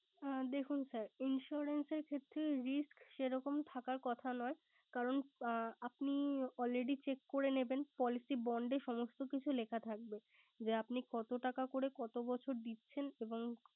হ্যাঁ দেখুন sir insurance ক্ষেত্রে risk সেরকম থাকার কথা নয়। কারন আপনি already check করে নেবেন। policy bond এ সমস্থ কিছু লেখা থাকবে যে আপনি কত টাকা করে কত বছর দিচ্ছেন এবং